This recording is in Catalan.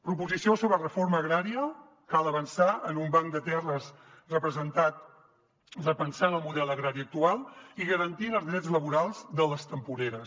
proposició sobre reforma agrària cal avançar en un banc de terres repensant el model agrari actual i garantint els drets laborals de les temporeres